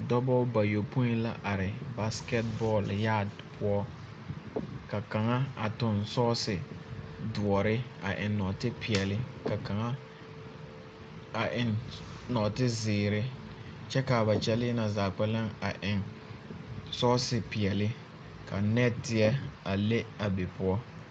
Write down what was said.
Dɔbɔ bayɔpõĩ la are basekɛt bɔɔl yaat poɔ. Ka kaŋa a toŋ sɔɔse doɔre a eŋ nɔɔtepeɛle ka kaŋa a eŋ nɔɔtezeere kyɛ kaa ba kyɛlee na zaa kpɛlɛŋ a eŋ sɔɔse peɛle, ka nɛɛteɛ a le a be poɔ.